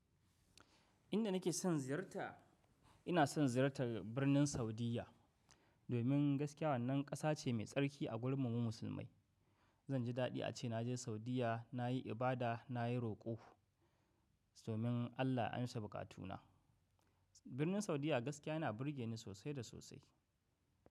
Inda nake son ziyarta, ina son ziyarta birnin Saudiyya. Domin gaskiya wannan ƙasa ce mai tsarki a gurin mu mu musulmai. Zan ji daɗi ace naje Saudiyya, nayi ibada, nayi roƙo, domin Allah ya amsa buƙatu na. Birnin Saudiyya gaskiya yana burge ni sosai da sosai.